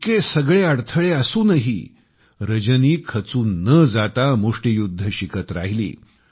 इतके सगळे अडथळे असूनही रजनी खचून न जाता मुष्टीयुध्द शिकत राहिली